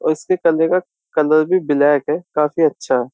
और इसके कलर का कलर भी ब्लैक है काफी अच्छा है।